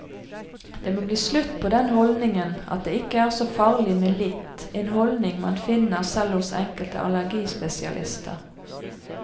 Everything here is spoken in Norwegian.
Det må bli slutt på den holdningen at det ikke er så farlig med litt, en holdning man finner selv hos enkelte allergispesialister.